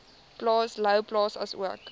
plaas louwplaas asook